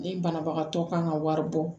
Ni banabagatɔ kan ka wari bɔ